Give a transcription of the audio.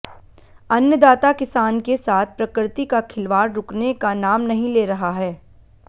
अन्नदाता किसान के साथ प्रकृति का खिलवाड़ रुकने का नाम नहीं ले रहा है